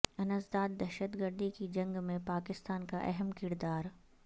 انسداد دہشت گردی کی جنگ میں پاکستان کا اہم کردار